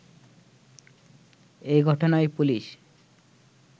এ ঘটনায় পুলিশ